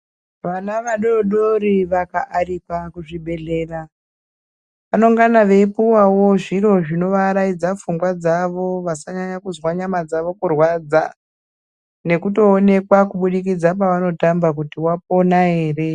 Vana vadoodori vakaarikwa kuzvibhedhlera vanongana veipuwawo zviro zvinovaraidza pfungwa dzawo vasanyanya kuzwa nyama dzawo kurwaradza nekutoonekwa kubudikidza pavanotamba kuti wapona ere.